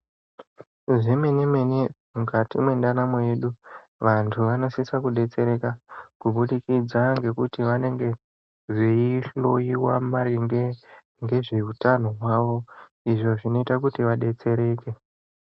Zvemenemene mukati mwendaramu yedu vantu vanosisa kudetsereka kubudikidza ngekuti vanenge veihloiwa maringe ngezveutano hwavo izvo zvinoita kuti vadetsereke.